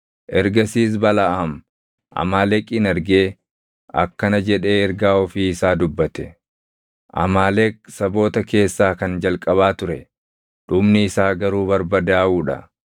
Ergasiis Balaʼaam Amaaleqin argee akkana jedhee ergaa ofii isa dubbate: “Amaaleq saboota keessaa kan jalqabaa ture; dhumni isaa garuu barbadaaʼuu dha.”